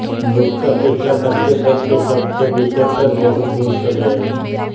मृग का पीछा करतेकरते सबसे बिछुड़कर बहुत दूर चले आए